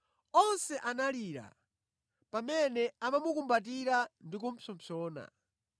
Onse analira pamene amamukumbatira ndi kupsompsona.